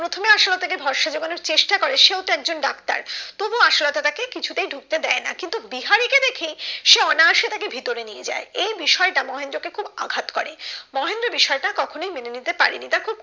চেষ্টা করে সেও তো একজন ডাক্তার তবুও আসলাকে কিছু তাই ঢুকতে দেয় না কিন্তু বিহারিকে দেখেই সে অনায়াসে ভিতরে নিয়ে যাই এই বিষয়টা মহেন্দ্রকে খুব আঘাত করে মহেন্দ্র বিষয়টা কখনোই মেনে নিতে পারেনি তা খুব